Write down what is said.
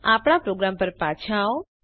આપણા પ્રોગ્રામ પર પાછા આવો